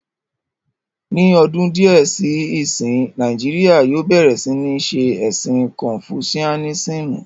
Ní ọdún díẹ̀ sí ìsín, Nàìjíríyà yóò bẹ̀rẹ̀ sí ní ṣé ẹ̀sìn kọnfusiánísímù